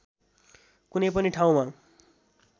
कुनै पनि ठाउँमा